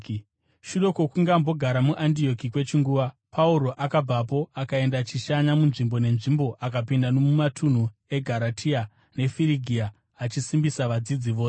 Shure kwokunge ambogara muAndioki kwechinguva, Pauro akabvapo akaenda achishanya munzvimbo nenzvimbo, akapinda nomumatunhu eGaratia neFirigia, achisimbisa vadzidzi vose.